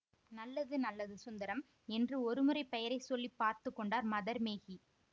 நல்லது நல்லது சுந்தரம் என்று ஒரு முறை பெயரை சொல்லி பார்த்து கொண்டார் மதர் மேகி